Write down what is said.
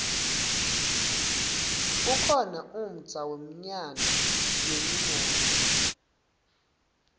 kukhona umdza wemyano yenimoto